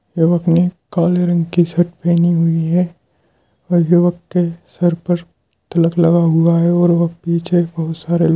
युवक ने काले रंग की शर्ट पहनी हुई है और युवक के सर पर तिलक लगा हुआ है और वह पीछे बहुत सारे लोग --